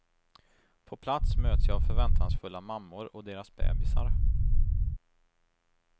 På plats möts jag av förväntansfulla mammor och deras bebisar.